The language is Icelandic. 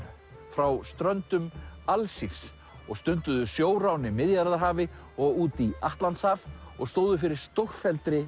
frá ströndum Alsírs og stunduðu sjórán í Miðjarðarhafi og út í Atlantshaf og stóðu fyrir stórfelldri